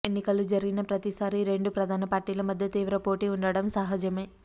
ఎన్నికలు జరిగిన ప్రతిసారీ ఈ రెండు ప్రధాన పార్టీల మధ్య తీవ్ర పోటీ ఉండటం సహజమే